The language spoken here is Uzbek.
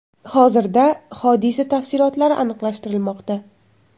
Hozirda hodisa tafsilotlari aniqlashtirilmoqda.